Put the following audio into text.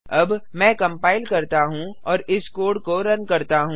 अब मैं कंपाइल करता हूँ और इस कोड को रन करता हूँ